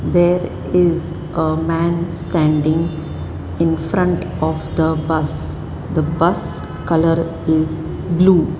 there is a man standing in front of the bus the bus colour is blue.